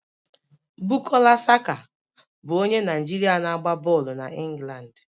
Bukola Saka bụ onye Naijiria na-agba bọọlụ na England